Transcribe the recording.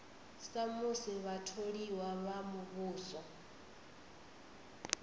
sa musi vhatholiwa vha muvhuso